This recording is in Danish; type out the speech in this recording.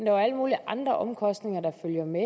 er alle mulige andre omkostninger der følger med